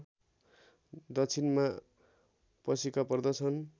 दक्षिणमा पशिका पर्दछन्